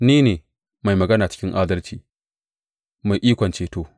Ni ne, mai magana cikin adalci, mai ikon ceto.